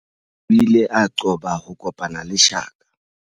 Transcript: O ile a qoba ho kopana le shaka.